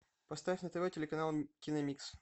поставь на тв телеканал киномикс